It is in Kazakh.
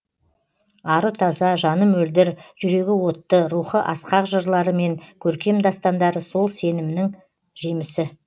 ары таза жаны мөлдір жүрегі отты рухы асқақ жырлары мен көркем дастандары сол сенімінің жемісі